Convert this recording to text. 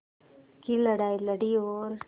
की लड़ाई लड़ी और